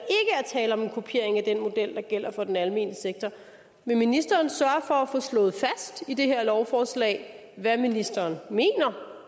tale om en kopiering af den model der gælder for den almene sektor vil ministeren sørge for at få slået fast i det her lovforslag hvad ministeren mener